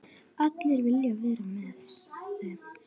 Allir vilja vera með þeim.